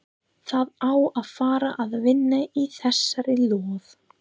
Það á að fara að vinna í þessari lóð.